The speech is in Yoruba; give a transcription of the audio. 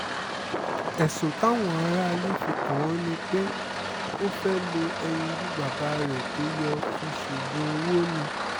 ẹ̀sùn táwọn aráalé fi kàn án ni pé ó fẹ́ẹ́ lo ẹyinjú bàbá rẹ̀ tó yọ́ fi ṣoògùn owó ni